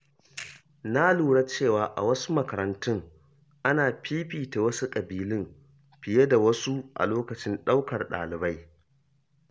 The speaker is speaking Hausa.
Na lura cewa a wasu makarantu, ana fifita wasu kabilun fiye da wasu a lokacin ɗaukar ɗalibai.